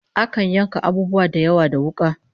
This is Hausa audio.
Akan yanka abubuwa da yawa da wuka